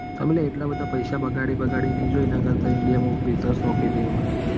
ખાલી એટલા બધા પૈસા બગાડી બગાડી જોય એના કરતા તો ઇન્ડિયા માં બેહવાનું.